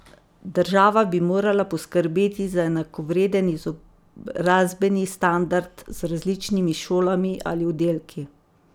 Država bi morala poskrbeti za enakovreden izobrazbeni standard z različnimi šolami ali oddelki.